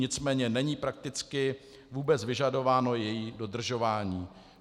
Nicméně není prakticky vůbec vyžadováno její dodržování.